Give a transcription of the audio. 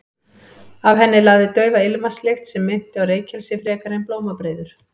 Af henni lagði daufa ilmvatnslykt sem minnti á reykelsi frekar en blómabreiður.